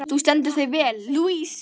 Þú stendur þig vel, Louise!